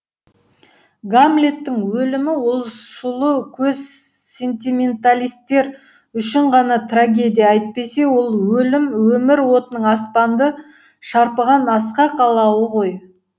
гамлеттің өлімі ол сулы көз сентименталистер үшін ғана трагедия әйтпесе ол өлім өмір отының аспанды шарпыған асқақ алауы ғой